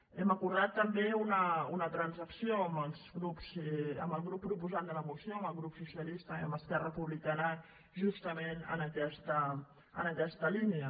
hem acordat també una transacció amb el grup proposant de la moció amb el grup socialista i amb esquerra republicana justament en aquesta línia